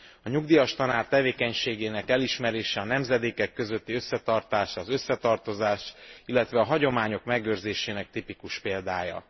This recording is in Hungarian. A nyugdíjas tanár tevékenységének elismerése a nemzedékek közötti összetartás, az összetartozás, illetve a hagyományok megőrzésének tipikus példája.